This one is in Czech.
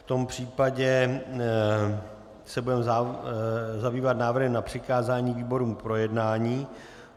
V tom případě se budeme zabývat návrhy na přikázání výborům k projednání.